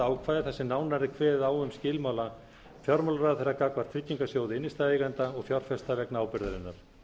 ákvæði þar sem nánar er kveðið á um skilmála fjármálaráðherra gagnvart tryggingarsjóði innstæðueigenda og fjárfesta vegna ábyrgðarinnar